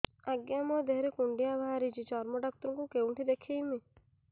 ଆଜ୍ଞା ମୋ ଦେହ ରେ କୁଣ୍ଡିଆ ବାହାରିଛି ଚର୍ମ ଡାକ୍ତର ଙ୍କୁ କେଉଁଠି ଦେଖେଇମି